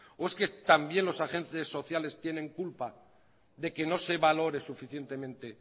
o es que también los agentes sociales tienen culpa de que no se valore suficientemente